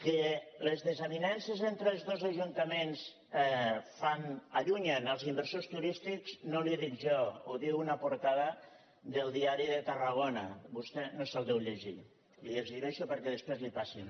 que les desavinences entre els dos ajuntaments allunyen els inversors turístics no li ho dic jo ho diu una portada del diari de tarragonaho exhibeixo perquè després li ho passin